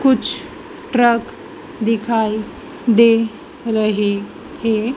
कुछ ट्रक दिखाई दे रहे थे।